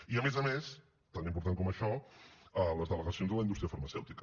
i a més a més tan important com això les delegacions de la indústria farmacèutica